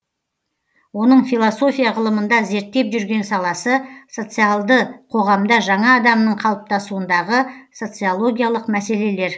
оның философия ғылымында зерттеп жүрген саласы социалды қоғамда жаңа адамның қалыптасуындағы социологиялық мәселелер